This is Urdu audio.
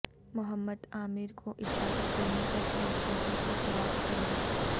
محمد عامر کو اجازت دینے پر پی سی بی سے جواب طلب